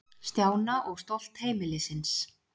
Stjána og stolt heimilisins.